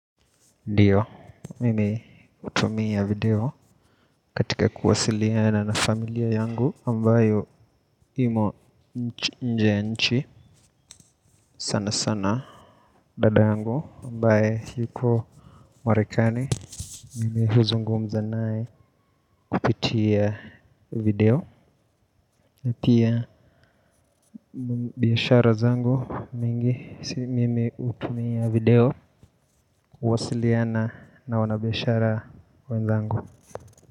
Ndiyo, mimi hutumia video katika kuwasiliana na familia yangu, ambayo imo nje ya nchi sana sana, dada yangu, ambaye yuko marekani, mimi huzungumza naye kupitia video, na pia biashara zangu mingi, mimi utumia video kuwasiliana na wanabiashara wenzangu.